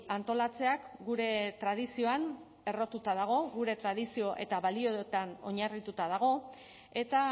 antolatzeak gure tradizioan errotuta dago gure tradizio eta balioetan oinarrituta dago eta